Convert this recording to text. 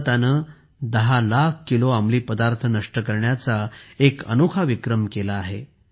भारताने 10 लाख किलो अंमली पदार्थ नष्ट करण्याचा एक अनोखा विक्रम केला आहे